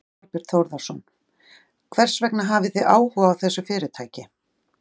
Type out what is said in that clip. Þorbjörn Þórðarson: Hvers vegna hafið þið áhuga á þessu fyrirtæki?